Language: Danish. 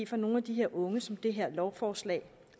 for nogle af de unge som det her lovforslag